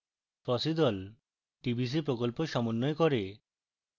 fossee the tbc প্রকল্প সমন্বয় করে